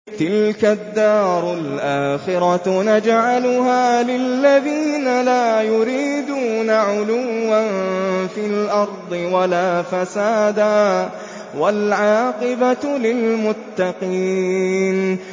تِلْكَ الدَّارُ الْآخِرَةُ نَجْعَلُهَا لِلَّذِينَ لَا يُرِيدُونَ عُلُوًّا فِي الْأَرْضِ وَلَا فَسَادًا ۚ وَالْعَاقِبَةُ لِلْمُتَّقِينَ